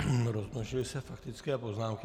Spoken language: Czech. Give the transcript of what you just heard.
Rozmnožily se faktické poznámky.